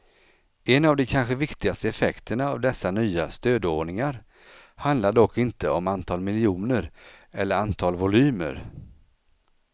En av de kanske viktigaste effekterna av dessa nya stödordningar handlar dock inte om antal miljoner eller antal volymer.